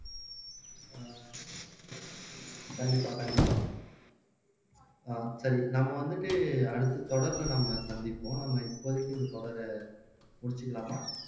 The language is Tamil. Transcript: கண்டிப்பா கண்டிப்பா ஆஹ் சரி நம்ம வந்துட்டு அடுத்து தொடரிலே நம்ம சந்திப்போம் நம்ம இப்போதைக்கு இந்த தொடரை முடிச்சுக்கலாமா